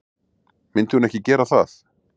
Myndi hún ekki gera það?